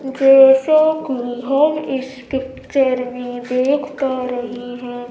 जैसे की एक स्टेकचर में देखा पा रही है।